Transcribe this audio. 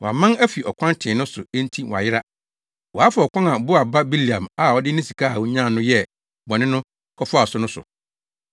Wɔaman afi ɔkwan tee no so enti wɔayera. Wɔafa ɔkwan a Beor ba Bileam a ɔde ne sika a onya no yɛ bɔne no kɔfaa so no so.